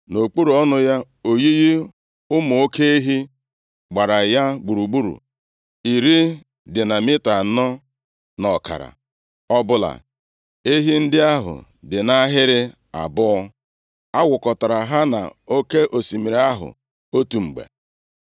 Nʼokpuru ọnụ ya, oyiyi ụmụ oke ehi gbara ya gburugburu, iri dị na mita anọ na ọkara ọbụla. Ehi ndị ahụ dị nʼahịrị abụọ. A wụkọtara ha na Oke osimiri ahụ otu mgbe.